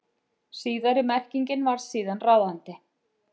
Síðari merkingin varð síðan ráðandi.